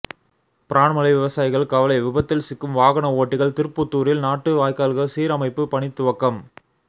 பிரான்மலை விவசாயிகள் கவலை விபத்தில் சிக்கும் வாகனஓட்டிகள் திருப்புத்தூரில் நாட்டு வாய்க்கால்கள் சீரமைப்பு பணி துவக்கம்